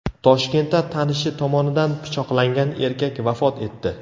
Toshkentda tanishi tomonidan pichoqlangan erkak vafot etdi.